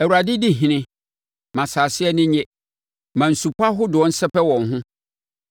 Awurade di ɔhene, ma asase ani nnye; ma nsupɔ ahodoɔ nsɛpɛ wɔn ho.